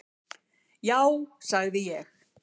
Já sagði ég.